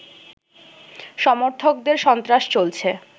সমর্থকদের সন্ত্রাস চলছে